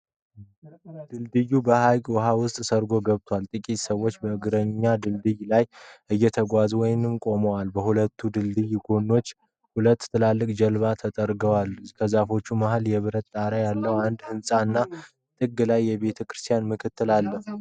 ድልድዩ በሐይቅ ውሃ ውስጥ ሰርጎ ገብቷል። ጥቂት ሰዎች በእግረኛ ድልድዩ ላይ እየተጓዙ ወይም ቆመዋል። በሁለቱም የድልድዩ ጎኖች ሁለት ትላልቅ ጀልባዎች ተጠግተዋል። ከዛፎቹ መሃል የብረት ጣራ ያለው አንድ ህንጻ እና ጥግ ላይ የቤተክርስቲያን ምልክት አለ።